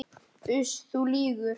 Uss, þú lýgur.